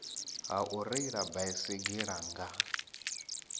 ha u reila baisigila nga